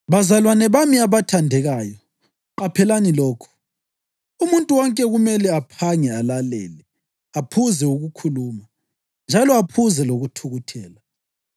Bazalwane bami abathandekayo, qaphelani lokhu: Umuntu wonke kumele aphange alalele, aphuze ukukhuluma, njalo aphuze lokuthukuthela